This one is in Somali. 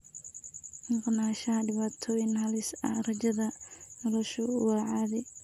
Maqnaanshaha dhibaatooyin halis ah, rajada noloshu waa caadi.